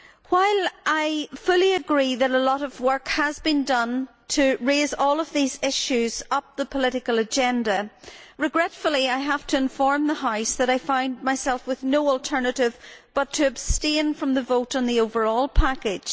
While I fully agree that a lot of work has been done to raise all of these issues up the political agenda, regretfully I have to inform the House that I find myself with no alternative but to abstain from the vote on the overall package.